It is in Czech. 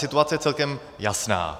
Situace je celkem jasná.